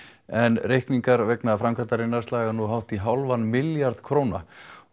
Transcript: en reikningar vegna framkvæmdarinnar slaga nú hátt í hálfan milljarð króna